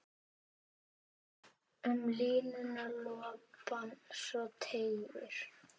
Um línuna lopann svo teygir.